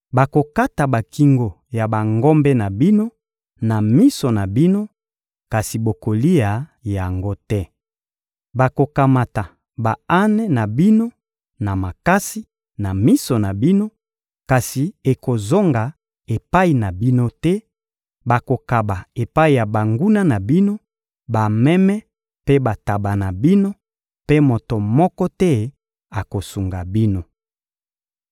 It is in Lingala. Bakokata bakingo ya bangombe na bino na miso na bino, kasi bokolia yango te. Bakokamata ba-ane na bino na makasi, na miso na bino, kasi ekozonga epai na bino te; bakokaba epai ya banguna na bino, bameme mpe bantaba na bino; mpe moto moko te akosunga bino.